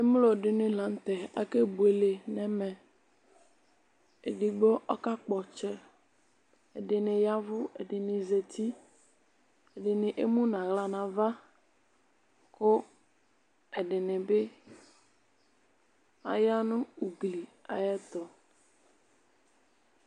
emlo dini lanu tɛ akebuele nʋ ɛmɛedigbo ɔkakpɔ ɔtsɛɛdini yavʋ, ɛdini zatiiɛdini emu nʋ aɣla nu avakʋ ɛdini bi aya nʋ ugli ayiʋ ɛtu